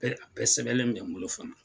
Bɛ a bɛɛ sɛbɛlen bɛ n bolo fana.